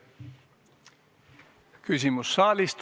Küsimus saalist.